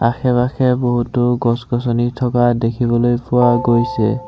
আশে-পাশে বহুতো গছ গছনি থকা দেখিবলৈ ফুৱা গৈছে।